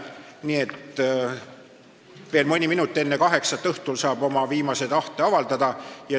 Nii et veel mõni minut enne kaheksat õhtul saab oma viimast tahet avaldada.